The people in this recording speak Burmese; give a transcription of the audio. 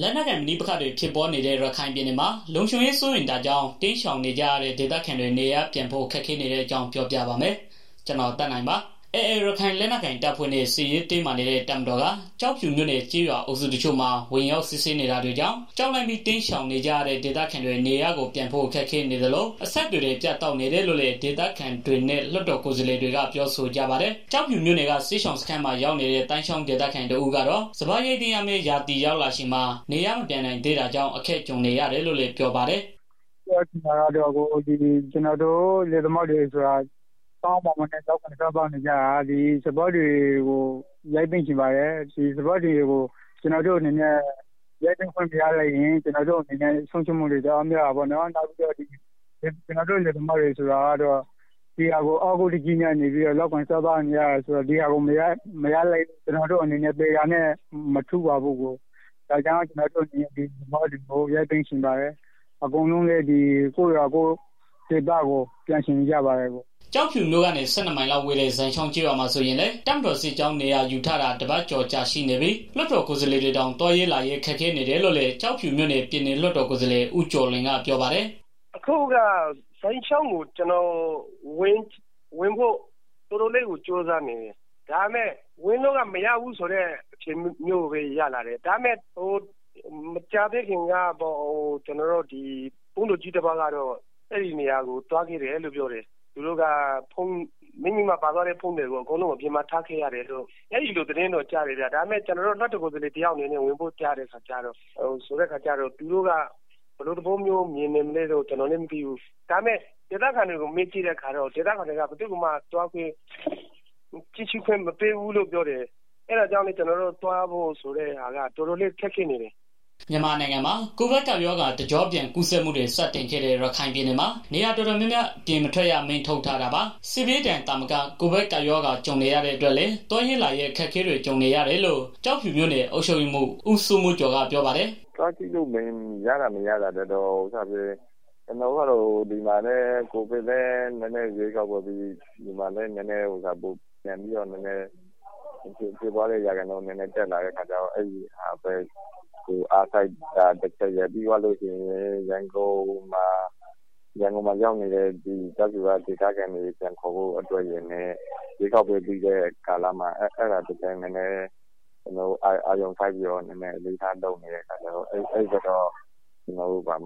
လက်နက်ကိုင် ပဋိပက္ခတွေ ဖြစ်ပွားနေတဲ့ ရခိုင်ပြည်နယ်မှာ လုံခြုံရေးစိုးရိမ်တာကြောင့် တိမ်းရှောင်နေကြရတဲ့ ဒေသခံတွေ နေရပ်ပြန်ဖို့ ခက်ခဲနေတဲ့အကြောင်း ပြောပြပါမယ်။ ဗွီအိုအေမြန်မာပိုင်းသတင်းထောက် ကိုသက်နိုင်က ရခိုင်ကနေ သတင်းပေးပို့ထားပါတယ်။ AA ရခိုင်လက်နက်ကိုင် တပ်ဖွဲ့နဲ့ စစ်ရေးတင်းမာနေတဲ့ တပ်မတော်က ကျောက်ဖြူမြို့နယ် ကျေးရွာအုပ်စုတချို့မှာ ဝင်ရောက် စစ်ဆေးနေတာကြောင့် ကြောက်လန့်ပြီး တိမ်းရှောင်နေကြရတဲ့ ဒေသခံတွေ နေရပ်ကိုပြန်ဖို့ ခက်ခဲနေသလို အဆက်အသွယ်တွေ ပြတ်တောက်နေတယ်လို့လည်း ဒေသခံတွေနဲ့ လွှတ်တော် ကိုယ်စားလှယ်တွေက ပြောကြပါတယ်။ ကျောက်ဖြူမြို့က စစ်ရှောင်စခန်းမှာ ရောက်နေတဲ့ သိုင်းချောင်းဒေသခံ တစ်ဦးကတော့ စပါးရိတ်သိမ်းရမယ့် ရာသီရောက်လာချိန်မှာ နေရပ်မပြန်နိုင်သေးတာကြောင့် အခက်ကြုံနေရတယ်လို့ ပြောပါတယ်။ “ကျနော်တို့ ဒေသခံလယ်သမားတွေဆိုတာ ကောင်းကောင်းမွန်မွန်လုပ်စားနေကြတာ။ ကျနော်တို့ ဒီစပါးတွေကို ရိတ်သိမ်းချင်ပါတယ်။ ဒီစပါးတွေကို ရိတ်သိမ်းခွင့်မရတဲ့အတွက် ကျနော်တို့မှာ ဆုံးရံှူးမှူတွေ တအားများတာပေါ့နော်။ ဒီဟာကို အားကိုးတကြီးနဲ့ လုပ်ကိုင်စားသောက်နေကြတာ ဆိုတော့ ဒီဟာကို မရလိုက်ရင် ကျနော်တို့က သေတာနဲ့ မထူးပါဘူး။ စပါးတွေ ရိတ်သိမ်းချင်တယ်။ အကုန်လုံးကလည်း ကိုယ့်ရပ်ကိုယ့်ရွာကို ပြန်ချင်နေကြပါတယ်။” ကျောက်ဖြူမြို့ကနေ ၁၂ မိုင်လောက်ဝေးတဲ့ ဇိုင်ချောင်းကျေးရွာမှာဆိုရင်လည်း တပ်မတော်စစ်ကြောင်း နေရာယူထားတာ တပတ်ကျော်ကြာ ရှိနေပြီး လွှတ်တော်ကိုယ်စားလှယ်တွေတောင် သွားရေးလာရေး ခက်ခဲနေတယ်လို့လည်း ကျောက်ဖြူမြို့နယ် ပြည်နယ်လွှတ်တော် ကိုယ်စားလှယ် ဦးကျော်လွင်ကပြောပါတယ်။ “အခုက ကျနော် ဇိုင်ချောင်းကို ဝင်ဖို့ တော်တော်လေးကို ကြိုးစားနေတယ်။ ဒါပေမဲ့ ဝင်လို့က မရဘူးဖြစ်နေတယ်။ မကြာသေးခင်ကတော့ ဘုန်းတော်ကြီးတစ်ပါးကတော့ အဲဒီနေရာကို သွားခဲ့တယ်လို့ ပြောတယ်။ ပါသွားတဲ့ ဖုန်းတွေကို အကုန်လုံးအပြင်မှာ ထားခဲ့ရတယ်လို့ သတင်းတော့ ကြားတယ်။ ကျနော်တို့ လွှတ်တော်ကိုယ်စားလှယ်တစ်ယောက်အနေနဲ့ ဝင်ဖို့ကျတော့ သူတို့က ဘယ်လိုသဘောမျိုးမြင်နေမလဲ မသိဘူး။ ဒေသခံတွေကို မေးကြည့်တဲ့ အခါကျတော့လည်း ဘယ်သူ့ကိုမှ ဝင်ခွင့်မပေးဘူးလို့ ကြားတယ်။ အဲဒါကြောင့် ကျနော်တို့ အနေနဲ့ ဝင်ဖို့ တော်တော်လေး ခက်ခဲနေတယ်။” မြန်မာနိုင်ငံမှာ ကိုဗစ်ကပ်ရောဂါ တကျော့ပြန်ကူးစက်မှုတွေ စတင်ခဲ့တဲ့ ရခိုင်ပြည်နယ်မှာ နေရာတော်တော်များများ အိမ်ပြင်မထွက်ရ အမိန့်ထုတ်ထားတာပါ။ စစ်ဘေးဒဏ် သာမက ကိုဗစ်ကပ်ရောဂါ ကြုံနေရတဲ့ အတွက်လည်း သွားရေးလာရေး အခက်အခဲတွေ ကြုံနေရတယ်လို့ ကျောက်ဖြူမြို့နယ် အုပ်ချုပ်ရေးမှူး ဦးစိုးမိုးကျော်က ပြောပါတယ်။ “သွားကြည့်လို့ ရတာ၊ မရတာထက် ကျနော်တို့ကတော့ ဒီမှာလည်း ကိုဗစ်ကလည်း ရွေးကောက်ပွဲပြီး ဖြစ်ပွားတဲ့ ရာခိုင်နှုန်း နည်းနည်းပြန်တက်လာတော့ အဲဒါကိုပဲ အားစိုက်ပြီးတော့ လုပ်နေရတယ်။ ပြီးသွားလို့ရှိရင် ရန်ကုန်မှာရောက်နေတဲ့ ကျောက်ဖြူက ဒေသခံတွေကို ပြန်ခေါ်ဖို့အတွက်ရယ်နဲ့ ရွေးကောက်ပွဲကာလ အားစိုက်ပြီးလုပ်နေရတော့ အဲဒီဘက်ကို ကျနော်တို့ သွား